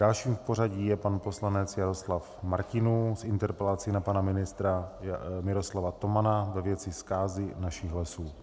Dalším v pořadí je pan poslanec Jaroslav Martinů s interpelací na pana ministra Miroslava Tomana ve věci zkázy našich lesů.